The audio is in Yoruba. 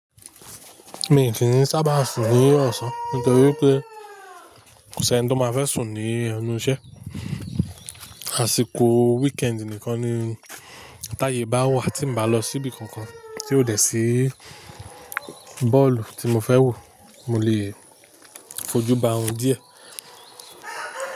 Mi kìn sábà sùn ní ọ̀sán nítorí pé kò sì ẹni tó máa fẹ́ sùn ní ẹnu iṣẹ́. Àsìkò weekend nìkan ni táyè bá wà tín bá lọ síbi kankan tí ó dẹ̀ sí bọ́ọ̀lù tí mo fẹ́ wò mó lè fojú ba òrun díẹ̀